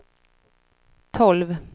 tolv